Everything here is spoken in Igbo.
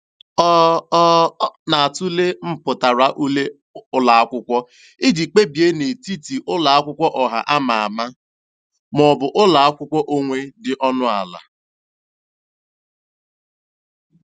Ọ Ọ na-atụle mpụtara ule ụlọakwụkwọ iji kpebie n'etiti ụlọakwụkwọ ọha ama ama maọbụ ụlọakwụkwọ onwe dị ọnụ ala.